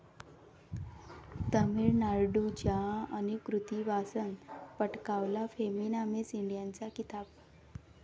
तामिळनाडूच्या अनुकृती वासनं पटकावला फेमिना मिस इंडियाचा किताब